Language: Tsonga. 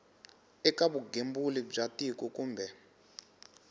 eka vugembuli bya tiko kumbe